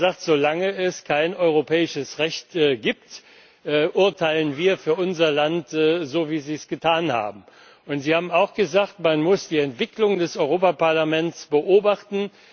Es hat gesagt Solange es kein europäisches Recht gibt, urteilen wir für unser Land so, wie wir es getan haben. Und es hat auch gesagt, man muss die Entwicklung des Europaparlaments beobachten.